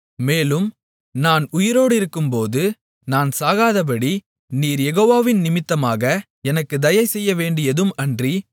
மேலும் நான் உயிரோடிருக்கும்போது நான் சாகாதபடி நீர் யெகோவாவின் நிமித்தமாக எனக்குத் தயை செய்யவேண்டியதும் அன்றி